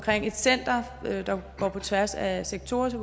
et center der går på tværs af sektorer så